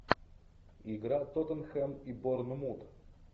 игра тоттенхэм и борнмут